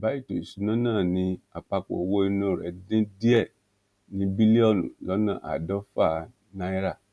àbá ètò ìṣúná náà ni àpapọ owó inú rẹ dín díẹ ní bílíọnù lọnà àádọfà náírà